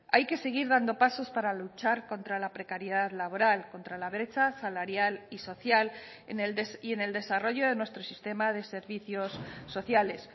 hay que seguir dando pasos para luchar contra la precariedad laboral contra la brecha salarial y social y en el desarrollo de nuestro sistema de servicios sociales